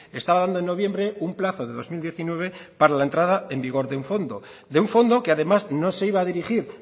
estaba dando en noviembre un plazo de dos mil diecinueve para la entrada en vigor de un fondo de un fondo que además no se iba a dirigir